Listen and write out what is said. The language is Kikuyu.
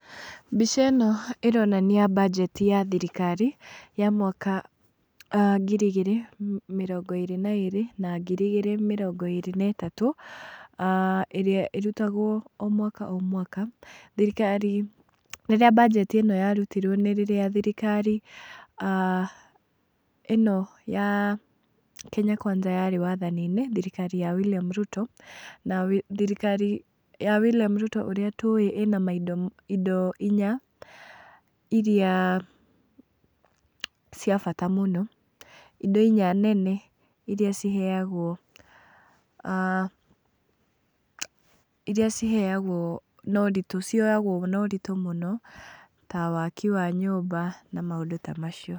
Mbica ĩno ĩronania banjeti ya thirikari ya mwaka ngiri igĩrĩ mĩrongo ĩrĩ na ĩrĩ , na ngiri mĩrongo ĩrĩ na itatũ, ĩrĩa ĩrutagwo o mwaka o mwaka thirikari , rĩrĩa banjeti ĩno yarutirwo nĩ rĩrĩa thirikari ĩno ya Kenya kwanza yarĩ wathani-inĩ, thirikari ya William Ruto , na thirikari ya William Ruto ũrĩa tũĩ ĩna maindo indo inya iria cia bata mũno, indo inya nene iria ciheagwo , iria ciheagwo na ũritũ cioyagwo na ũritũ mũno ta waki wa nyũmba na maũndũ ta macio.